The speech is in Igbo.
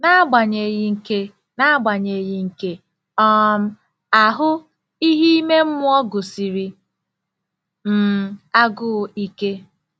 N'agbanyeghị nke N'agbanyeghị nke um ahụ, ihe ime mmụọ gụsiri m agụụ ike.